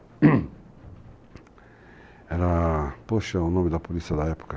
Era... poxa, o nome da polícia da época.